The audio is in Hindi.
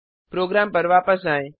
प्रोग्राम पर वापस आएं